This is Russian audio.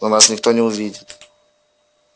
но нас никто не увидит